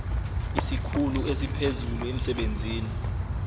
isikhulu esiphezulu emsebenzini